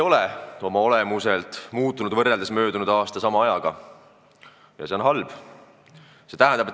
Euroopa Liit ei ole võrreldes möödunud aasta sama ajaga oma olemuselt muutunud ja see on halb.